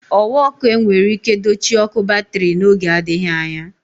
Ọ̀wà ọkụ enwere ike dochie ọ̀kụ batrị n'oge adịghị anya.